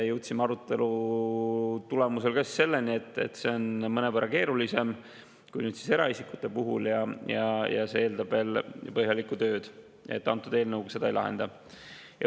Jõudsime arutelu tulemusel ka selleni, et see on mõnevõrra keerulisem kui eraisikute puhul ja eeldab veel põhjalikku tööd, antud eelnõuga seda ei lahendata.